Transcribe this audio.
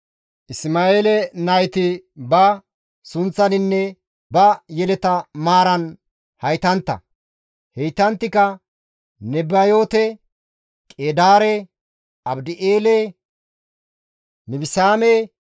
Isma7eele nayti ba sunththaninne ba yeleta maaran haytantta; heytanttika Nebayoote, Qeedaare, Adibi7eele, Mibisaame,